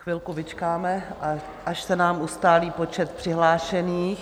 Chvilku vyčkáme, až se nám ustálí počet přihlášených.